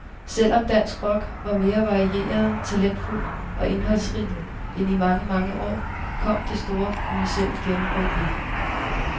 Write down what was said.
Selv om dansk rock var mere varieret, talentfuld og indholdsrig end i mange, mange år, kom det store kommercielle gennembrud ikke.